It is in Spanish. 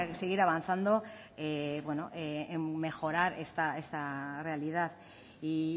seguir avanzando en mejorar esta realidad y